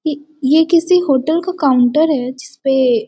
ये ये किसी होटल का काउंटर हैं जिसपे --